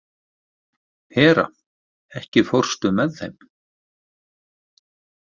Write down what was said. Hera, ekki fórstu með þeim?